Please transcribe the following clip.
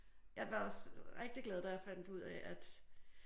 Jeg var også rigtig glad da jeg fandt ud af at